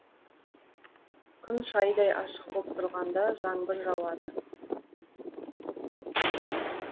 күн шайдай ашық боп тұрғанда жаңбыр жауады